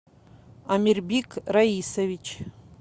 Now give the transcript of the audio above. амирьбик раисович